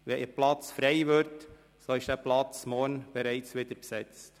Wenn ein Platz frei wird, so ist dieser morgen bereits wieder besetzt.